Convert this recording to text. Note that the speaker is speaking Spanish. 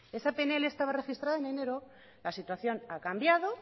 esa pnl estaba registrada en enero la situación ha cambiado